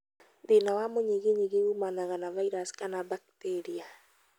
Thĩna wa mũnyiginyigi ũmanaga na vairaci kana bakiteria.